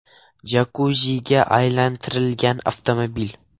jakuziga aylantirilgan avtomobil.